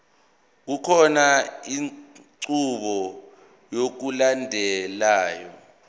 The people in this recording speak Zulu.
kukhona inqubo yokulandelayo